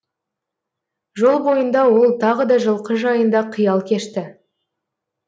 жол бойында ол тағы да жылқы жайында қиял кешті